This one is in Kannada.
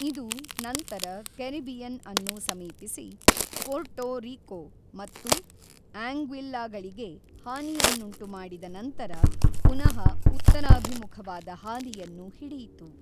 ಇದು ನಂತರ ಕೆರಿಬಿಯನ್ ಅನ್ನು ಸಮೀಪಿಸಿ ಪೋರ್ಟೊ ರೀಕೊ ಮತ್ತು ಆಂಗ್ವಿಲ್ಲಾಗಳಿಗೆ ಹಾನಿಯನ್ನುಂಟುಮಾಡಿದ ನಂತರ ಪುನಃ ಉತ್ತರಾಭಿಮುಖವಾದ ಹಾದಿಯನ್ನು ಹಿಡಿಯಿತು.